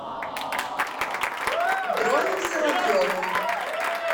дроном соловьевым